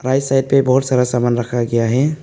Right side पे बहोत सारा सामान रखा गया है।